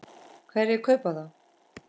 Hverjir kaupa það?